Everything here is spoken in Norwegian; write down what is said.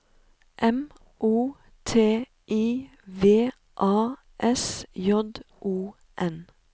M O T I V A S J O N